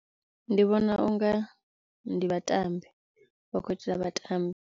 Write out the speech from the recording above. Ndi vhona unga ndi vhatambi vhatambi.